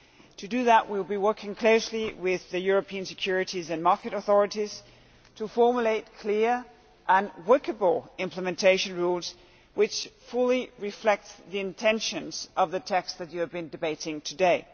To do that we will be working closely with the European Securities and Markets Authority to formulate clear and workable implementation rules which fully reflect the intention of the text you have been debating today.